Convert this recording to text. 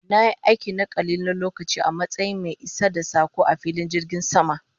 Na yi aiki na kalilan lokaci a matsayin mai isar da sako a filin jirgin sama